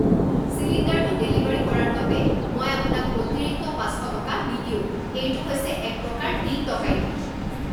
চিলিণ্ডাৰটো ডেলিভাৰী কৰাৰ বাবে মই আপোনাক অতিৰিক্ত পাঁচ শ টকা নিদিওঁ। এইটো হৈছে একপ্ৰকাৰ দিন ডকাইতি!